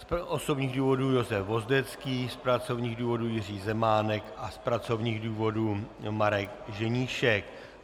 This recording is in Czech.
Z osobních důvodů Josef Vozdecký, z pracovních důvodů Jiří Zemánek a z pracovních důvodů Marek Ženíšek.